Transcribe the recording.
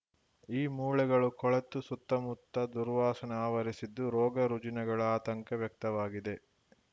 ಈ ಮೂಳೆಗಳು ಕೊಳೆತು ಸುತ್ತಮುತ್ತ ದುರ್ವಾಸನೆ ಆವರಿಸಿದ್ದು ರೋಗರುಜಿನಗಳ ಆತಂಕ ವ್ಯಕ್ತವಾಗಿದೆ